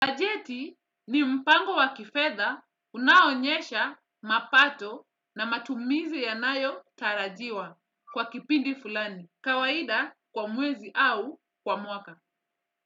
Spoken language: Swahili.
Bajeti ni mpango wa kifedha unaoonyesha mapato na matumizi yanayotarajiwa kwa kipindi fulani. Kawaida kwa mwezi au kwa mwaka.